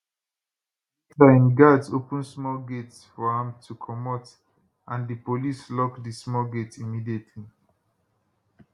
later im guards open small gate for am to comot and di police lock di small gate immediately